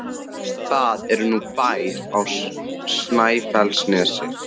Það er nú bær á Snæfellsnesi!